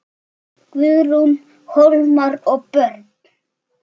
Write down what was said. Það er ekki nokkur vafi.